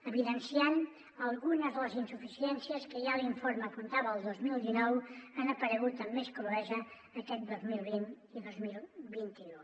evidenciant algunes de les insuficiències que ja l’informe apuntava el dos mil dinou han aparegut amb més cruesa aquest dos mil vint i dos mil vint u